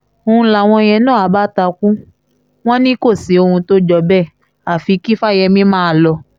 n láwọn yẹn na àbá takú wọn ní k òsì ọ̀hún t ọjọ́ bẹ́ẹ̀ àfi kí fáyemí máa lọ